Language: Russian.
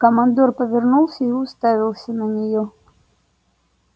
командор повернулся и уставился на неё